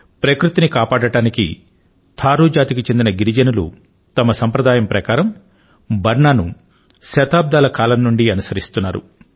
ప్రకృతి ని కాపాడటానికి థారూ జాతి కి చెందిన గిరిజనులు వారి సంప్రదాయం ప్రకారం బర్ నా ను శతాబ్దాల కాలం నుండి అనుసరిస్తున్నారు